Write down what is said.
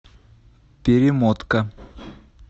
перемотка